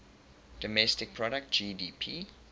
domestic product gdp